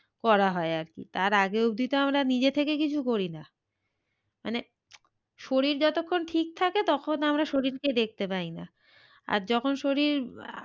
করা হয় আর কি তার আগে অব্দি তো আমরা নিজে থেকে কিছু করি না। মানে শরীর যতক্ষন ঠিক থাকে তখন আমরা শরীরকে দেখতে পাই না আর যখন শরীর